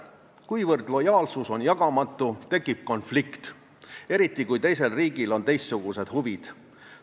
Kuna lojaalsus on jagamatu, tekib konflikt, eriti kui teisel riigil on teistsugused huvid.